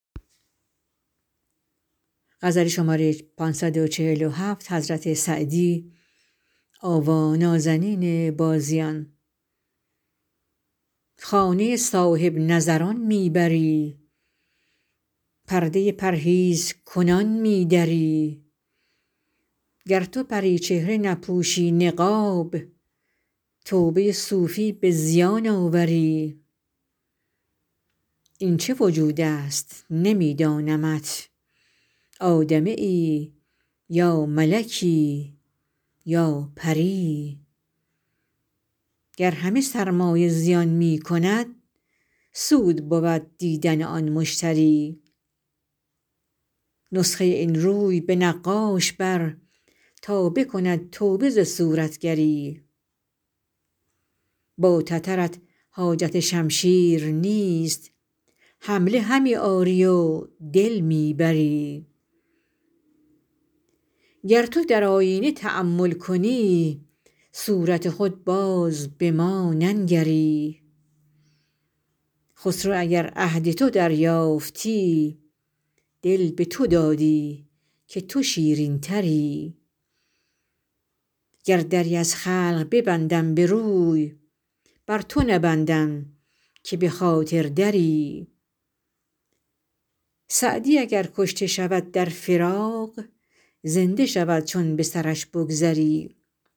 خانه صاحب نظران می بری پرده پرهیزکنان می دری گر تو پری چهره نپوشی نقاب توبه صوفی به زیان آوری این چه وجود است نمی دانمت آدمیی یا ملکی یا پری گر همه سرمایه زیان می کند سود بود دیدن آن مشتری نسخه این روی به نقاش بر تا بکند توبه ز صورتگری با تترت حاجت شمشیر نیست حمله همی آری و دل می بری گر تو در آیینه تأمل کنی صورت خود باز به ما ننگری خسرو اگر عهد تو دریافتی دل به تو دادی که تو شیرین تری گر دری از خلق ببندم به روی بر تو نبندم که به خاطر دری سعدی اگر کشته شود در فراق زنده شود چون به سرش بگذری